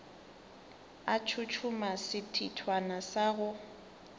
a tshotshoma sethithwana sa go